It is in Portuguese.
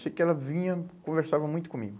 Eu sei que ela vinha, conversava muito comigo.